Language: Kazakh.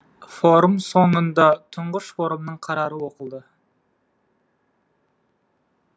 форум соңында тұңғыш форумның қарары оқылды